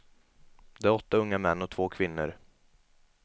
Det är åtta unga män och två kvinnor.